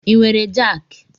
I nwere jaaki?